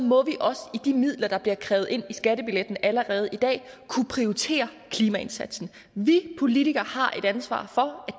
må vi også i de midler der bliver krævet ind over skattebilletten allerede i dag kunne prioritere klimaindsatsen vi politikere har et ansvar for at